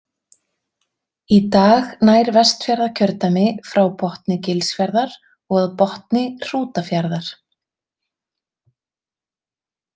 Í dag nær Vestfjarðakjördæmi frá botni Gilsfjarðar og að botni Hrútafjarðar.